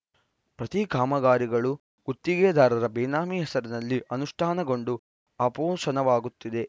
ಪ್ರತಿ ಕಾಮಗಾರಿಗಳು ಗುತ್ತಿಗೆದಾರರ ಬೇನಾಮಿ ಹೆಸರಲ್ಲಿ ಅನುಷ್ಠಾನಗೊಂಡು ಆಪೋಶನವಾಗುತ್ತಿವೆ